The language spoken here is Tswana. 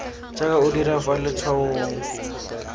jaaka o dira fa letshwaong